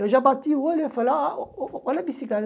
Eu já bati o olho e falei, ah ah olha a bicicleta.